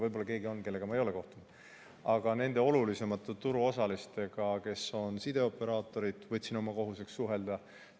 Võib-olla on keegi, kellega ma ei ole kohtunud, aga nende olulisemate turuosalistega, kes on sideoperaatorid, võtsin oma kohuseks suhelda.